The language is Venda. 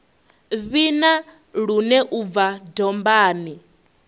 vhina lune u bva dombani